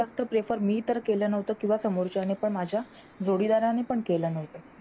जास्त prefer मी तर केलं नव्हतं किंवा समोरच्याने पण माझ्या जोडीदाराने पण केलं नव्हतं.